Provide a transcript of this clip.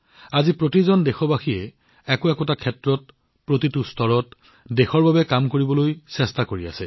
আজি প্ৰতিজন দেশবাসীয়ে প্ৰতিটো স্তৰত বা আন ক্ষেত্ৰত দেশৰ বাবে পৃথক কাম কৰিবলৈ চেষ্টা কৰি আছে